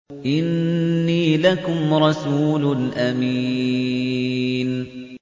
إِنِّي لَكُمْ رَسُولٌ أَمِينٌ